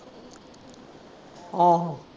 ਆਹੋ।